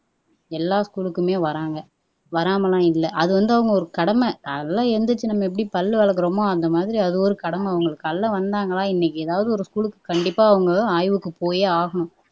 எல்லா ஸ்கூலுக்குமே வராங்க வராம எல்லாம் இல்ல அது வந்து அவங்க ஒரு கடமை காலைல எழுந்திரிச்சி எப்படி நம்ம பல்லு விளக்குறோமோ அந்த மாதிரி அது ஒரு கடமை அவங்களுக்கு காலைல வந்தாங்களா இன்னைக்கு ஏதாவது ஒரு ஸ்கூலுக்கு கண்டிப்பா அவங்க ஆய்வுக்கு போயே ஆகணும்